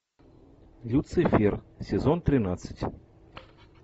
люцифер сезон тринадцать